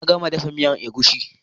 Na gama dafa miyan egusi